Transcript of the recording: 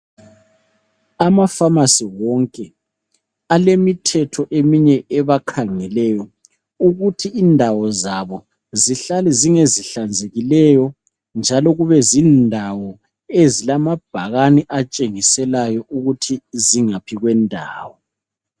ama phamarcy wonke alemithetho eminye ebakhangeleyo ukuthi indawo zabo zihlale zingezihlanzekileyo njalo kubezindawo ezilamabhakane atshengiselayo ukuthi zingaphi kwendawo